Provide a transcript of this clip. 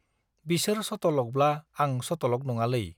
बिसोर सतलकब्ला आं सतलक नङालै।